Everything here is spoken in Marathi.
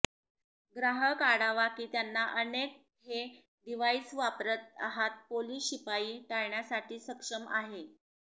ग्राहक आढावा की त्यांना अनेक हे डिव्हाइस वापरत आहात पोलिस शिपाई टाळण्यासाठी सक्षम आहे